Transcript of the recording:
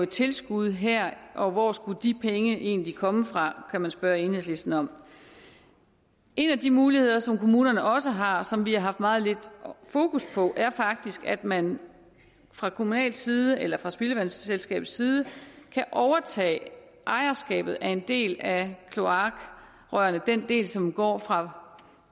tilskud her og hvor skulle de penge egentlig komme fra kan man spørge enhedslisten om en af de muligheder som kommunerne også har og som vi har haft meget lidt fokus på er faktisk at man fra kommunal side eller fra spildevandselskabets side kan overtage ejerskabet af en del af kloakrørene den del som går fra